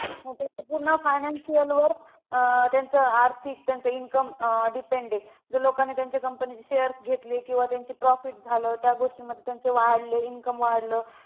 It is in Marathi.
पूर्ण financial work त्यांचं आर्थिक त्यांचं income depend आहे. जर लोकांनी त्यांच्या company चे shares घेतले, किंवा त्यांचं profit झालं त्या गोष्टीमध्ये त्यांचे वाढले, income वाढलं